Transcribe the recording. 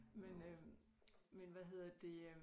Men øh men hvad hedder det øh